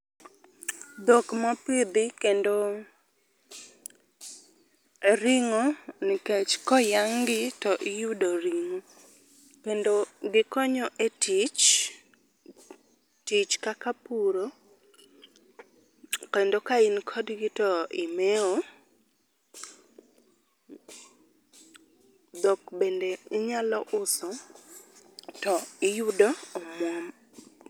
Dhok mopidhi kendo ring'o nikech koyang' gi tiyudo ringo kendo gikonyo e tich, tich kaka puro kendo ka in kod gi to imewo. Dhok bende inyalo uso to iyudo omwom.